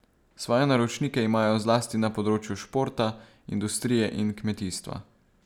Svoje naročnike imajo zlasti na področju športa, industrije in kmetijstva.